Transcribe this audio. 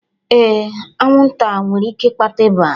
Ee, anwụnta nwere ike ịkpata ịba